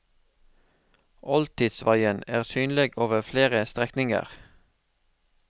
Oldtidsveien er synlig over flere strekninger.